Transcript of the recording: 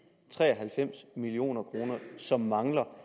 tre og halvfems million kr som mangler